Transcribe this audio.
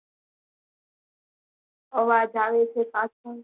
અવાજ આવે છે પાછળ